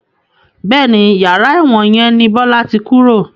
Bẹ́ẹ̀ni, yàrá ẹ̀wọ̀n yẹn ni Bọlá tí kúrò